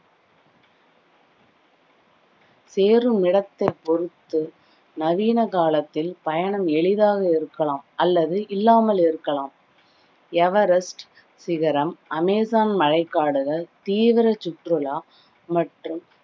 சேரும் இடத்தை பொறுத்து நவீன காலத்தில் பயணம் எளிதாக இருக்கலாம் அல்லது இல்லாமல் இருக்கலாம் எவரெஸ்ட் சிகரம், அமேசான் மழைக் காடுகள், தீவிர சுற்றுலா மற்றும்